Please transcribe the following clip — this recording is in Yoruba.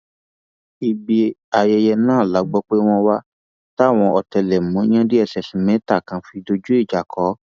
ibi ayẹyẹ náà la gbọ pé wọn wà táwọn ọtẹlẹmúyẹ dss mẹta kan fi dojú ìjà kọ ọ